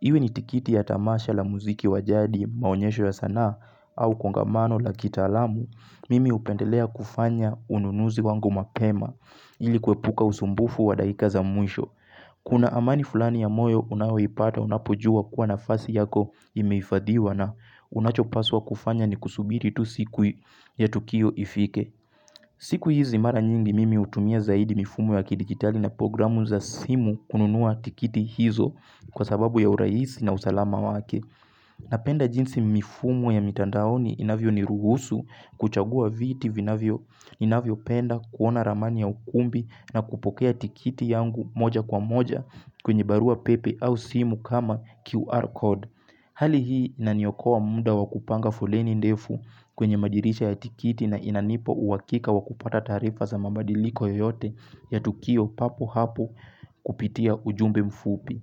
Iwe ni tikiti ya tamasha la muziki wajadi, maonyesho ya sanaa au kongamano la kitaalamu, mimi upendelea kufanya ununuzi wangu mapema ili kuepuka usumbufu wa dakika za mwisho. Kuna amani fulani ya moyo unaoipata unapojua kuwa nafasi yako imehifadhiwa na unachopaswa kufanya ni kusubiri tu siku ya tukio ifike. Siku hizi mara nyingi mimi hutumia zaidi mifumo ya kidigitali na programu za simu kununua tikiti hizo kwa sababu ya uraisi na usalama wake. Napenda jinsi mifumo ya mitandaoni inavyo ni ruhusu kuchagua viti vinavyo inavyo penda kuona ramani ya ukumbi na kupokea tikiti yangu moja kwa moja kwenye barua pepe au simu kama QR code. Hali hii inaniokoa muda wakupanga foleni ndefu kwenye madirisha ya tikiti na inanipa uhakika wa kupata taarifa za mabadiliko yoyote ya Tukio papo hapo kupitia ujumbe mfupi.